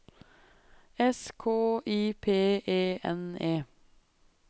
S K I P E N E